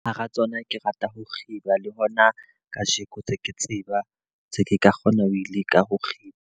Hara tsona ke rata ho kgiba le hona ka jeko tse ke tseba, tse ke ka kgona ho leka ho kgiba.